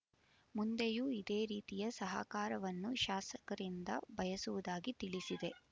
ಮುಂದೆಯೂ ಇದೇ ರೀತಿಯ ಸಹಕಾರವನ್ನು ಶಾಸಕರಿಂದ ಬಯಸುವುದಾಗಿ ತಿಳಿಸಿ